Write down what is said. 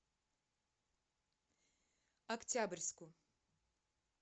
октябрьску